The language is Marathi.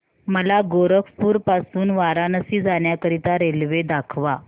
मला गोरखपुर पासून वाराणसी जाण्या करीता रेल्वे दाखवा